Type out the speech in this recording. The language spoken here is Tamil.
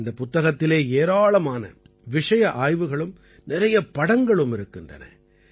இந்தப் புத்தகத்திலே ஏராளமான விஷய ஆய்வுகளும் நிறைய படங்களும் இருக்கின்றன